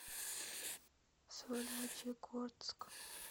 сольвычегодск